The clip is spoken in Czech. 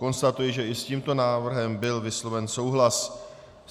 Konstatuji, že i s tímto návrhem byl vysloven souhlas.